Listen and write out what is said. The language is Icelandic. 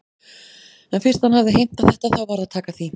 En fyrst hann hafði heimtað þetta þá varð að taka því.